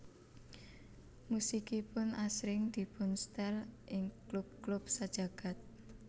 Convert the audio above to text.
Musikipun asring dipunstel ing klub klub sajagad